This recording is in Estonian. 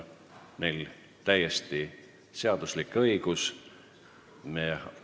Neil on täiesti seaduslik õigus selline ettepanek teha.